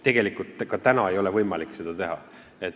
Tegelikult ei ole ka täna võimalik seda teha.